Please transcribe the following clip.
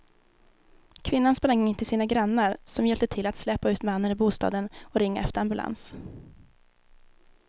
Kvinnan sprang in till sina grannar som hjälpte till att släpa ut mannen ur bostaden och ringa efter ambulans.